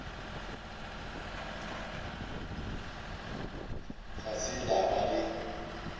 ga se la ba le